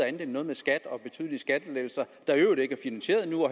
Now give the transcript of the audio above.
end noget med skat og betydelige skattelettelser